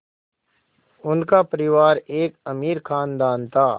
उनका परिवार एक अमीर ख़ानदान था